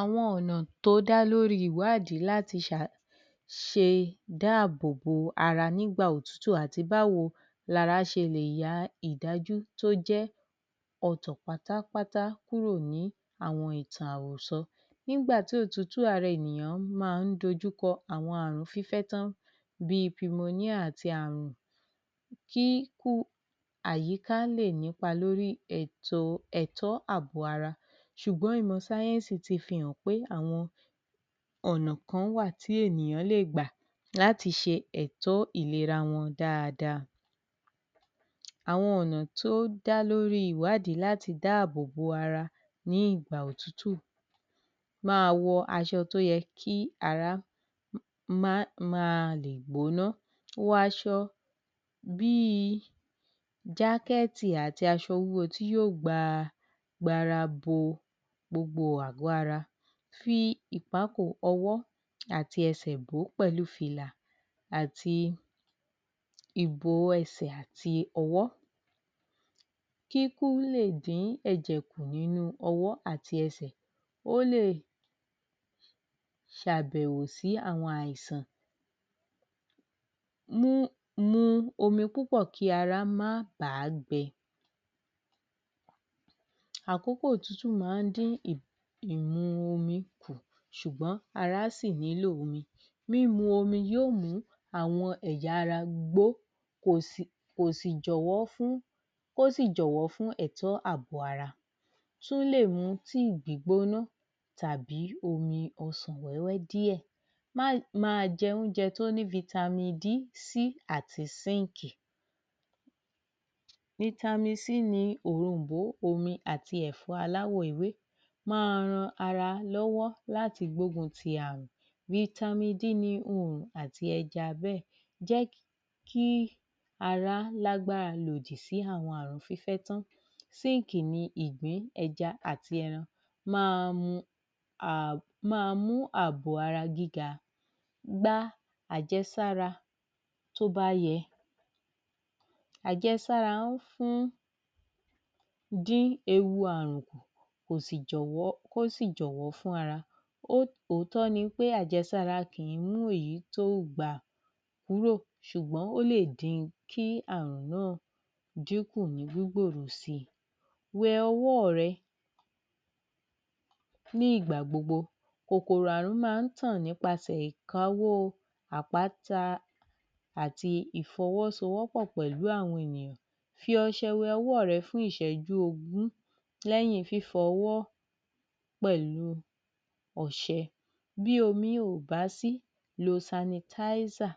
Àwọn ọ̀nà tó dá lórí ìwádìí láti ṣe dáàbòbò ara nígbà òtútù àti báwo ni ara ṣe lè ya ìdájú tó jẹ́ ọ̀tọ̀ pátá pátá kúrò ní àwọn ìtàn àròsọ. Nígbà tí òtútù ara ènìyàn bá ń dojú kọ àwọn àrùn fífẹ́tán bí i Premonia àti àrùn kí àyíká lè nípa lórí ètò ẹ̀kọ́ àbọ̀ ara ṣùgbọ́n ìmọ̀ sáyẹ́ńsì ti fi hàn pé àwọn ọ̀nà kan wà tí ènìyàn lè gbà láti ṣe ẹ̀tọ́ ìlera wọn dáadáa. Àwọn ọ̀nà tó dá lórí ìwádìí láti dá bòbò ara ní ìgbà òtútù. Máa wọ aṣọ tó yẹ kí ará máa lè gbóná, wọ aṣọ bí i jákẹ́ẹ̀tì àti aṣọ wúwo tí yóò gba ara bo gbogbo àgọ́ ara, fi ìpákò ọ̀wọ́ àti ẹsẹ̀ bò ó pẹ̀lú fìlà àti ìbo ẹsẹ̀ àti ọwọ́ kí ikú lè dín ẹ̀jẹ̀ kù nínú ọwọ́ àti ẹsẹ̀ ó lè ṣàbẹ̀wò sí àwọn àìsàn. Mu omi púpọ̀ kí ara máa bà á gbẹ. Àkókò òtútù máa ń dín ìmu omi kù ṣùgbọ́n ara sì nílò omi mímu omi yóò mú àwọn ẹ̀yà ara gbó kó sì jọ̀wọ́ fún ẹ̀tọ́ àbọ̀ ara. Ó tún lè mú tea gbígbóná tàbí omi ọsàn wẹ́wẹ́ díẹ̀. Máa jẹ oúnjẹ tó ní vitamin D, C àti Síǹkì. Vitamin ni òrom̀bó omi àti ẹ̀fọ́ aláwọ̀ ewé. Máa ran ara lọ́wọ́ láti gbógun ti àrùn. Vitamin D ni oòrùn àti ẹja bẹ́ẹ̀. Jẹ́ kí ara lágbára lòdì sí àwọn àrùn fífẹ́tán Síǹkì ni ìgbín ẹja àti ẹran. Máa mú àbọ̀ ara gíga. Gba àjẹsára tó bá yẹ. Àjẹsára ń di ewu àrùn kù, kó sì jọ̀wọ́ fún ara. Òótọ́ ni pé àjẹsára kì í mú èyí tí o gbà kúrò ṣùgbọ́n ó lè dín àrùn náà kù ní gbígbèrò si. Wẹ ọwọ́ ọ̀ rẹ ní ìgbà gbogbo. Kòkòrò àrùn máa ń tàn nípasẹ̀ ìkáwó àpáta àti ìfọwọ́sowọ́po pẹ̀lú àwọn ènìyàn. Fi ọṣẹ wẹ ọwọ́ ọ̀ rẹ fún ìṣẹ́jú ogún, lẹ́yìn fífọwọ́ pẹ̀lú ọṣẹ. Bí omi ò bá sí, lo Sanitizer.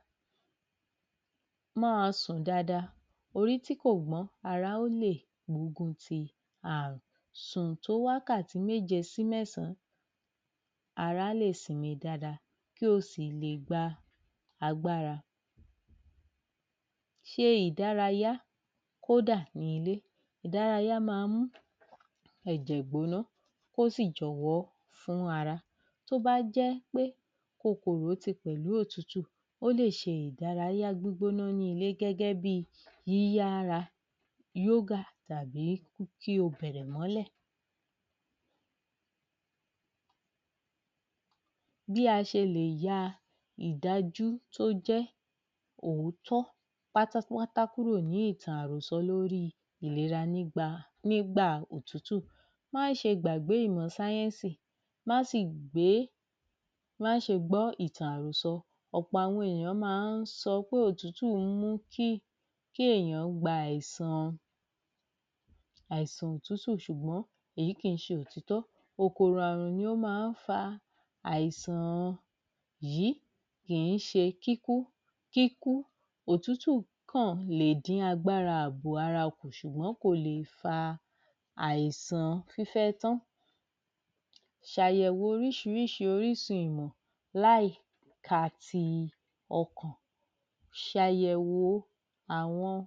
Máa sùn dáadáa, orí tí kò gbọ́n ara ó lè gbógun ti àrùn. Sùn tó wákàtí méje sí mẹ́sàn-án, ara á lè sinmi dáadáa kí o sì lè gba agbára. Ṣe ìdárayá kódà ní ilé, ìdárayá máa ń mú ẹ̀jẹ̀ gbóná kó sì jọ̀wọ́ fún ara. Tó bá jẹ́ pé kòkòrò ti pẹ̀lú òtútù ó lè ṣe ìdárayá gbígbóná ní ilé gẹ́gẹ́ bí i yíyá ara yógà tàbí kí o bẹ̀rẹ̀ mọ́lẹ̀. Bí a ṣe lè ya ìdájú tó jẹ́ òótọ́ pátápátá kúrò ní ìtàn àròsọ lórí ìlera nígbà òtútù. Má ṣe gbàgbé ìmọ̀ sáyẹ́ńsì, má ṣe gbọ́ ìtàn àròsọ, ọ̀pọ̀ àwọn ènìyàn máa ń sọ pé òtútù ń mú kí ènìyàn gba àìsàn òtútù ṣùgbọ́n èyí kìí ṣe òtítọ́, kòkòrò àrùn ni ó máa ń fa àìsàn yìí, kìí ṣe kíkú, òtútù kàn ń lè dín agbára àbò ara kù ṣùgbọ́n kò lè fa àìsàn fífẹ́tán. Ṣàyẹ̀wò oríṣiríṣi orísun ìmọ̀, láì ka ti ọkàn. Ṣàyẹ̀wò àwọn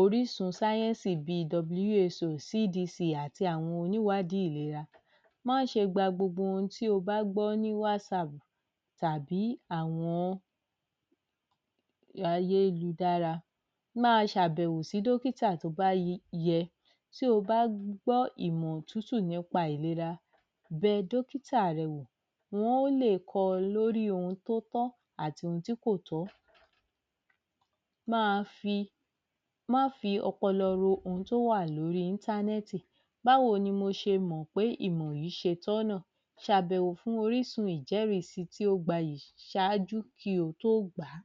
orísun sáyẹ́ńsì bí i WHO CDC àti àwọn oníwàádìí ìlera. Má ṣe gba gbogbo ohun tí o bá gbọ́ ní WhatsApp tàbí àwọn ayélujára, máa ṣàbẹ̀wò sí dókítà tí ó bá yẹ tí o bá gbọ́ ìmọ̀ òtútù nípa ìlera, bẹ dókítà rẹ wò, wọn óò le kọ́ ọ lórí ohun tí ó tọ́ àti ohun tí kò tọ́. Má fi ọpọlọ ro ohun tí ó wà lórí Internet báwo ni mo ṣe mọ̀ pé ìmọ̀ yìí ṣe tọ̀nà ṣàbẹ̀wò fún orísun ìjẹ́rìí si tí ó gbayì ṣáájú kí o tó gbà á.